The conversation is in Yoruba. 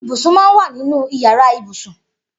Ibúsún mà n wà ninú iyàrá ibúsún